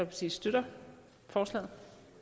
kan støtte forslaget